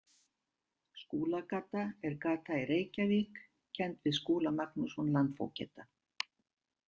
Skúlagata er gata í Reykjavík kennd við Skúla Magnússon landfógeta.